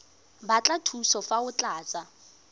batla thuso fa o tlatsa